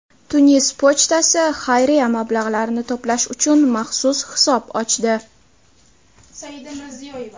Tunis pochtasi xayriya mablag‘larini to‘plash uchun maxsus hisob ochdi.